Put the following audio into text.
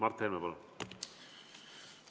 Mart Helme, palun!